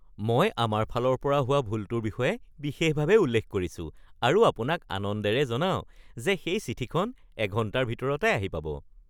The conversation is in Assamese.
মই আমাৰ ফালৰ পৰা হোৱা ভুলটোৰ বিষয়ে বিশেষভাৱে উল্লেখ কৰিছো আৰু আপোনাক আনন্দেৰে জনাওঁ যে সেই চিঠিখন এঘণ্টাৰ ভিতৰতে আহি পাব (কুৰিয়াৰ)